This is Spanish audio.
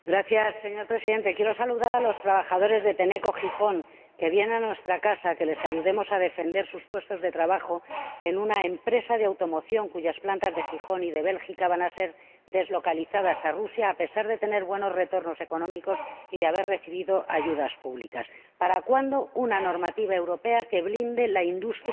Señor Presidente, quiero saludar a los trabajadores de Tenneco, de Gijón, que vienen a nuestra Casa para que les ayudemos a defender sus puestos de trabajo en una empresa de automoción cuyas plantas de Gijón y de Bélgica van a ser deslocalizadas a Rusia, a pesar de tener buenos retornos económicos y de haber recibido ayudas públicas. ¿Para cuándo una normativa europea que blinde la industria